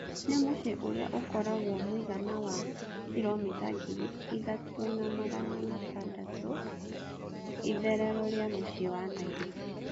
Nĩ mũciĩ ũrĩa ũkoragwo mũigana wa kiromĩta ngiri ithatũna magana matandatũitherero rĩa mũciĩ wa Nairobi.